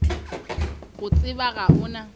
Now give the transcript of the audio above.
go tseba ga o na